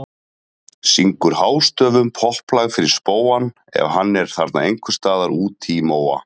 Syngur hástöfum popplag fyrir spóann ef hann er þarna ein- hvers staðar úti í móa.